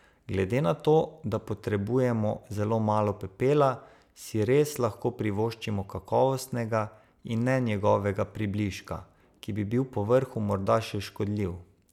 Glede na to, da potrebujemo zelo malo pepela, si res lahko privoščimo kakovostnega in ne njegovega približka, ki bi bil povrhu morda še škodljiv.